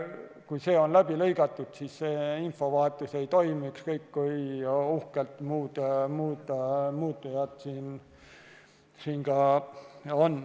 Kui see on läbi lõigatud, siis infovahetus ei toimi, ükskõik kui uhked muud muutujad ka on.